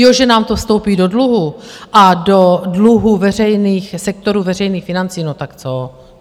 Jo, že nám to vstoupí do dluhu a do dluhů sektorů veřejných financí, no tak co?